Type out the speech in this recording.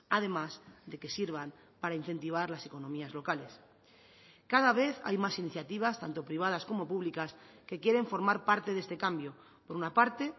además de que sirvan para incentivar las economías locales cada vez hay más iniciativas tanto privadas como públicas que quieren formar parte de este cambio por una parte